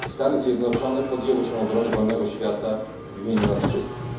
Stany Zjednoczone podjęły się obrony wolnego świata w imieniu nas wszystkich.